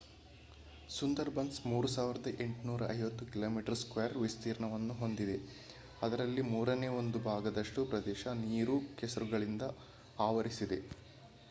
Sundarbans 3,850 km² ವಿಸ್ತೀರ್ಣಯನ್ನು ಹೊಂದಿದೆ ಅದರಲ್ಲಿ ಮೂರನೇ- 1 ಭಾಗದಷ್ಟು ಪ್ರದೇಶ ನೀರು/ಕೆಸರುಗಳಿಂದ ಆವರಿಸಿದೆ